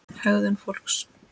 HEGÐUN FÓLKS